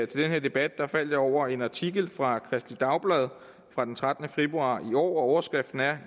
den her debat faldt jeg over en artikel fra kristeligt dagblad fra den trettende februar i år hvor overskriften